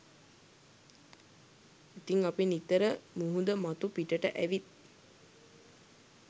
ඉතිං අපි නිතර මුහුද මතු පිටට ඇවිත්